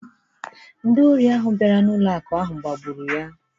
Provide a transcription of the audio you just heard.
Ndị ori ahụ bịara n’ụlọ akụ̀ ahụ gbagburu ya